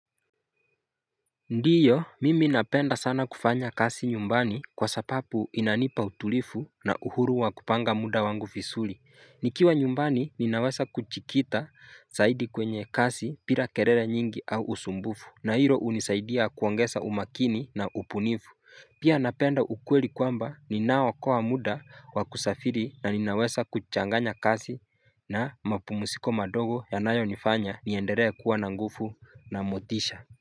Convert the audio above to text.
Ndiyo mimi napenda sana kufanya kasi nyumbani kwa sapapu inanipa utulifu na uhuru wa kupanga muda wangu fisuli Nikiwa nyumbani ninawesa kuchikita zaidi kwenye kasi pira kerere nyingi au usumbufu na hilo unisaidia kuwangesa umakini na upunifu Pia napenda ukweli kwamba ninao kwa muda wa kusafiri na ninawesa kuchanganya kasi na mapumusiko madogo yanayo nifanya nienderea kuwa na ngufu na motisha.